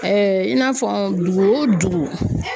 in n'a fɔ dugu o dugu